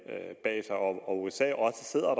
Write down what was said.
bag sig og at usa også sidder